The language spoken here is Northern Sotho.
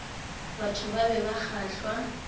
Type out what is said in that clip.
batho ba be ba kgahlwa